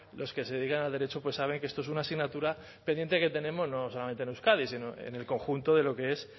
los que se dedican al derecho saben que esto es una asignatura pendiente que tenemos no solamente en euskadi sino en el conjunto